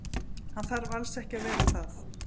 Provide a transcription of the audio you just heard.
Hann þarf alls ekki að vera það.